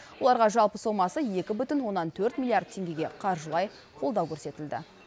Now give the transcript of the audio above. оларға жалпы сомасы екі бүтін оннан төрт миллиард теңгеге қаржылай қолдау көрсетілді